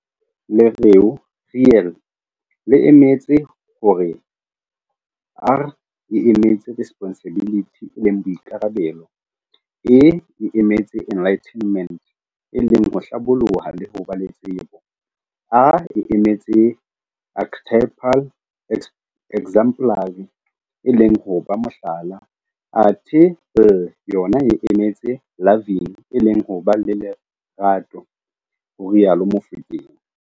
Lereo Real le emetse hore R e emetse Responsibility e leng Boikarabelo, E e emetse Enlightenment e leng ho Hlaboloha le ho ba le tsebo, A e emetse Archetypal exemplary e leng ho ba Mohlala, athe L yona e emetse Loving e leng ho ba le Lerato, ho rialo Mofokeng.